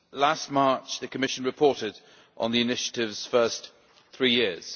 Last March the Commission reported on the Initiative's first three years.